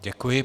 Děkuji.